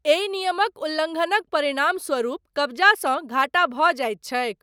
एहि नियमक उल्लङ्घनक परिणामस्वरूप, कब्जासँ घाटा भऽ जाइत छैक।